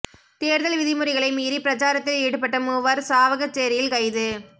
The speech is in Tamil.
தேர்தல் விதிமுறைகளை மீறி பிரச்சாரத்தில் ஈடுபட்ட மூவர் சாவகச்சேரியில் கைது